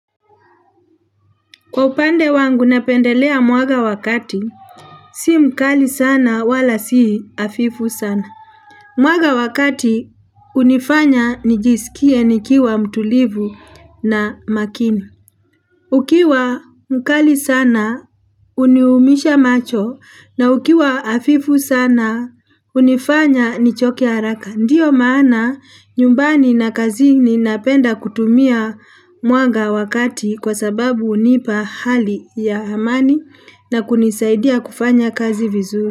Kwa upande wangu napendelea mwaga wakati, si mkali sana wala si afifu sana. Mwaga wakati unifanya nijisikie nikiwa mtulivu na makini. Ukiwa mkali sana uniumisha macho na ukiwa afifu sana unifanya nichoke haraka. Ndiyo maana nyumbani na kazi ni napenda kutumia muanga wakati kwa sababu unipa hali ya amani na kunisaidia kufanya kazi vizuri.